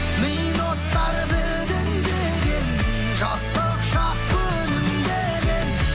мида от бар бүлінбеген жастық шақ күлімдеген